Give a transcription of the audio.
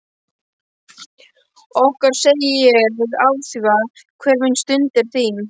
Okkar segi ég afþvíað hver mín stund er þín.